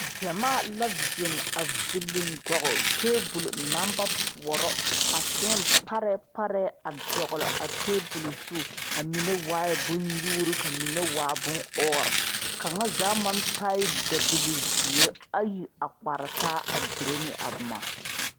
Gyamaa la zeŋ a villi gɔle tabol naŋ ba poɔrɔ ka seemparɛɛ parɛɛ a dɔgle a tabol zu a mine waaɛ bonnyuuri ka mine waa bonɔɔre kaŋa zaa maŋ taaɛ dabilizeere ayi a kpare taa a dire ne a boma.